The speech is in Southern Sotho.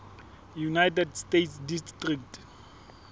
united states district